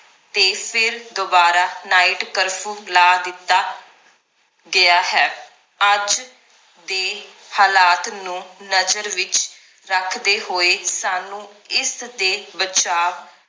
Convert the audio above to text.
ਤੇ ਫਿਰ ਦੋਬਾਰਾ night ਕਰਫਯੂ ਲਾ ਦਿੱਤਾ ਗਿਆ ਹੈ ਅੱਜ ਦੇ ਹਾਲਾਤ ਨੂੰ ਨਜ਼ਰ ਵਿਚ ਰੱਖਦੇ ਹੋਏ ਸਾਨੂੰ ਇਸ ਦੇ ਬਚਾਵ